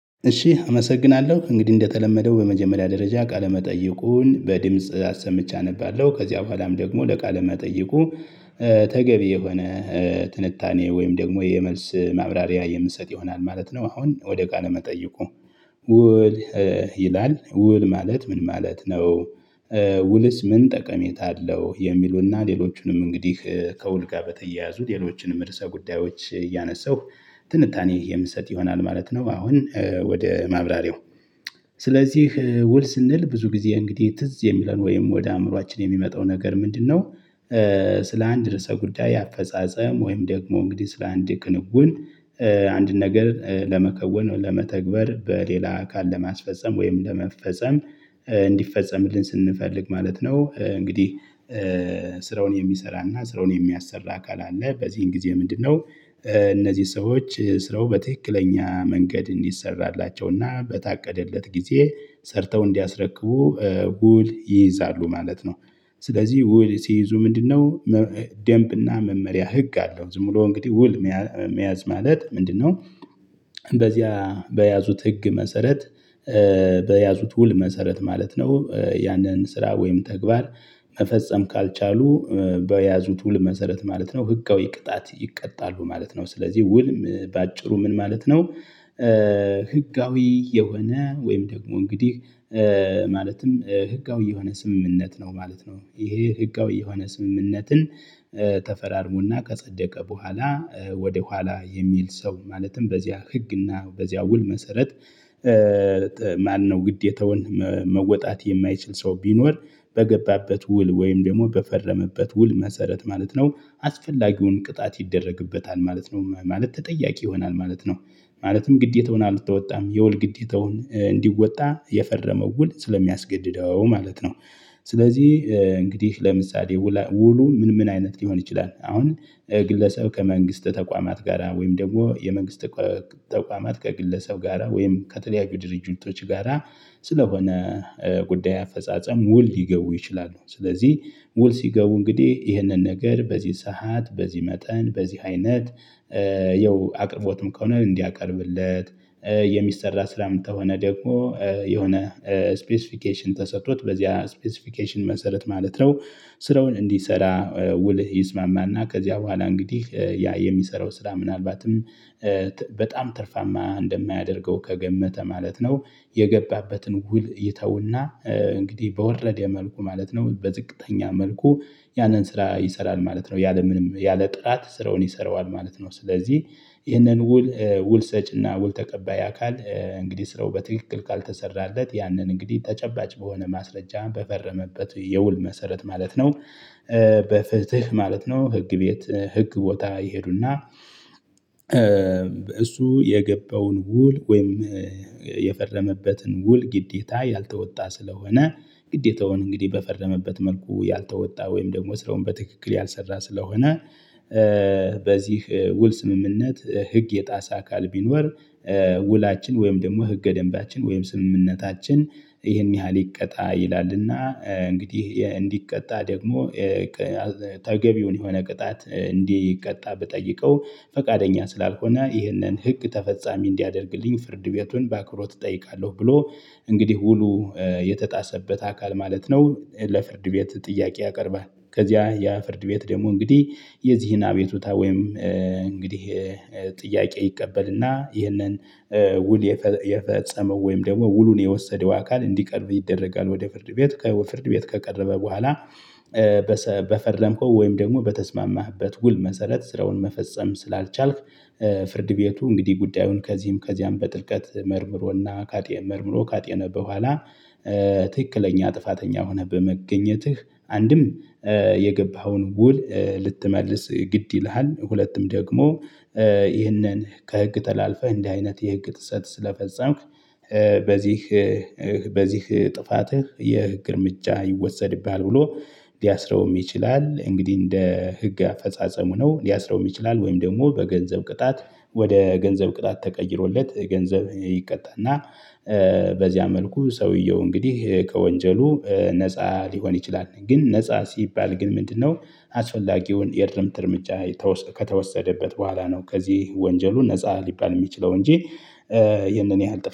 እሺ አመሰግናለሁ እንግዲህ እንደተለመደው በመጀመሪያ ደረጃ ቃለመጠየቁን በድምጽ አሰምቼ አነባለሁ ከዚያ በኋላም ደግሞ ለቃለ መጠይቁ ተገቢ የሆነ ትንታኔ ወይም ደግሞ የመልስ ማብራሪያ የምትሰጥ ይሆናል ማለት ነው። አሁን ወደ ቃለ መጠይቁ ውል ይላል ውል ማለት ምን ማለት ነው? ውልስ ምን ጠቀሜታ አለው? የሚሉና ሌሎቹንም እንግዲህ ከውል ጋር በተያያዙ ሌሎችንም እርሳ ጉዳዮች እያነሳሁ ትንታኔ የምትሰጥ ይሆናል ማለት ነው። አሁን ወደ ማብራሪው ስለዚህ ውል ስንል ብዙ ጊዜ እንግዲህ ትዝ የሚለን ወይም ወደ አእምሮአችን የሚመጣው ነገር ምንድነው? ስለ አንድ ርዕሰ ጉዳይ አፈጻጸም ወይም ደግሞ እንግዲህ ስለ አንድ ቅንጉን አንድ ነገር ለመከወን ለመተግበር በሌላ አካል ለማስፈፀም ወይም ለመፈጸም እንዲፈጸምልን ስንፈልግ ማለት ነው። እንግዲህ ስራውን የሚሰራና ስራውን የሚያሰራ አካል አለ በዚህን ጊዜ ምንድነው? እነዚህ ሰዎች ስራው በትክክለኛ መንገድ እንዲሰራላቸውና በታቀደለት ጊዜ ሰርተው እንዲያስረቅቡ ውል ይይዛሉ ማለት ነው። ስለዚህ ውል ሲይዙ ምንድነው? ደምብና መመሪያ ህግ አለው ዝም ብሎ እንግዲህ ውል መያዝ ማለት ምንድነው? በዚያ በያዙት ህግ መሰረት በያዙት ውል መሰረት ማለት ነው። ያንን ስራ ወይም ተግባር። መፈጸም ካልቻሉ በያዙት ውል መሰረት ማለት ነው። ህጋዊ ቅጣት ይቀጣሉ ማለት ነው። ስለዚህ ውልም በአጭሩ ምን ማለት ነው? ህጋዊ የሆነ ወይም ደግሞ እንግዲህ ማለትም ህጋዊ የሆነ ስምምነት ነው ማለት ነው። ይሄ ህጋዊ የሆነ ስምምነትን ተፈራርሞና ከጸደቀ በኋላ ወደ ኋላ የሚል ሰው ማለትም በዚያ ህግና በዚያ ውል መሰረት። ማነው ግዴታውን መወጣት የማይችል ሰው ቢኖር በገባበት ውል ወይም ደግሞ በፈረመበት ውል መሰረት ማለት ነው አስፈላጊውን ቅጣት ይደረግበታል ማለት ነው ማለት ተጠያቂ ይሆናል ማለት ነው። ማለትም ግዴታውን አልተወጣም የወል ግዴታውን እንዲወጣ የፈረመው ውል ስለሚያስገድደው ማለት ነው። ስለዚህ እንግዲህ ለምሳሌ ውሉ ምን ምን አይነት ሊሆን ይችላል አሁን? ግለሰብ ከመንግስት ተቋማት ጋራ ወይም ደግሞ የመንግስት ተቋማት ከግለሰብ ጋራ ወይም ከተለያዩ ድርጅቶች ጋራ ስለሆነ ጉዳይ አፈጻጸም ውል ሊገቡ ይችላሉ። ስለዚህ ውል ሲገቡ እንግዲህ ይህንን ነገር በዚህ ሰዓት በዚህ መጠን በዚህ አይነት። ያው አቅርቦትም ከሆነ እንዲያቀርብለት የሚሰራ ስራ የምትሆነ ደግሞ የሆነ ስፔሲፊኬሽን ተሰጥቶት በዚህ ስፔሲፊኬሽን መሰረት ማለት ነው። ስራውን እንዲሰራ ውልህ ይስማማና ከዚያ በኋላ እንግዲህ ያ የሚሰራው ስራ ምናልባትም በጣም ትርፋማ እንደማያደርገው ከገመተ ማለት ነው። የገባበትን ውል ይተውና እንግዲህ በወረደ መልኩ ማለት ነው በዝቅተኛ መልኩ ያንን ስራ ይሰራል ማለት ነው። ያለምንም ያለ ጥራት ስራውን ይሰራዋል ማለት ነው። ስለዚህ ይህንን ውል ውል ሰጭና ውል ተቀባይ አካል እንግዲህ ስራው በትክክል ካልተሰራለት ያንን እንግዲህ ተጨባጭ በሆነ ማስረጃ በፈረመበት የውል መሰረት ማለት ነው። በፍትህ ማለት ነው ህግ ቤት ህግ ቦታ ይሄዱና። እሱ የገባውን ውል ወይም የፈረመበትን ውል ግዴታ ያልተወጣ ስለሆነ ግዴታውን እንግዲህ በፈረመበት መልኩ ያልተወጣ ወይም ደግሞ ስራውን በትክክል ያልሰራ ስለሆነ። በዚህ ውል ስምምነት ህግ የጣሰ አካል ቢኖር ውላችን ወይም ደግሞ ህገ ደንባችን ወይም ስምምነታችን ይህን ያህል ይቀጣ። ይላልና እንግዲህ እንዲቀጣ ደግሞ ተገቢውን የሆነ ቅጣት እንዲቀጣ ብጠይቀው ፈቃደኛ ስላልሆነ ይህንን ህግ ተፈጻሚ እንዲያደርግልኝ ፍርድ ቤቱን በአክብሮት እጠይቃለሁ ብሎ። እንግዲህ ውሉ የተጣሰበት አካል ማለት ነው ለፍርድ ቤት ጥያቄ ያቀርባል። ከዚያ ያ ፍርድ ቤት ደግሞ እንግዲህ የዚህን አቤቱታ ወይም እንግዲህ ጥያቄ ይቀበልና ይህንን ውል የፈጸመው ወይም ደግሞ ውሉን የወሰደው አካል እንዲቀርብ ይደረጋል ወደ ፍርድ ቤት ፍርድ ቤት ከቀረበ በኋላ። በፈረምከው ወይም ደግሞ በተስማማህበት ውል መሰረት ስራውን መፈጸም ስላልቻልክ ፍርድ ቤቱ እንግዲህ ጉዳዩን ከዚህም ከዚያም በጥልቀት መርምሮና ካጤን መርምሮ ካጤነ በኋላ። ትክክለኛ ጥፋተኛ ሆነህ በመገኘትህ አንድም የገባኸውን ውል ልትመልስ ግድ ይልሃል ሁለቱም ደግሞ ይህንን ከህግ ተላልፈህ እንዲህ አይነት የህግ ጥሰት ስለፈጸምክ። በዚህ ጥፋትህ የግርምጫ ይወሰድብሃል ብሎ ሊያስረውም ይችላል። እንግዲህ እንደ ህግ አፈጻጸሙ ነው ሊያስረው የሚችላል ወይም ደግሞ በገንዘብ ቅጣት ወደ ገንዘብ ቅጣት ተቀይሮለት ገንዘብ ይቀጣል። እና በዚያ መልኩ ሰውየው እንግዲህ ከወንጀሉ ነፃ ሊሆን ይችላል። ግን ነፃ ሲባል ግን ምንድነው? አስፈላጊውን የድርምት እርምጃ ከተወሰደበት በኋላ ነው ከዚህ ወንጀሉን ነፃ ሊባል የሚችለው እንጂ። ይህንን ያህል